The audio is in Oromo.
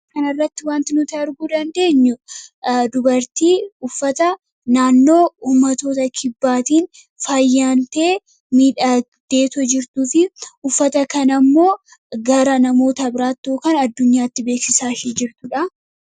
kanirratti wanti nuti arguu dandeenyu dubartii uffata naannoo uummatoota kibbaatiin faayyantee miidhagdee jirtuu fi uffata kana immoo gara namoota biraatti kan addunyaatti beeksisaa jirtuudha.